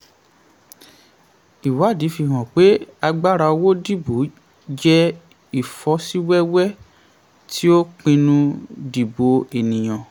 ìwádìí fi hàn pé agbára owó dìbò jẹ ìfọ́síwẹ́wẹ́ tí ó pinnu dìbò ènìyàn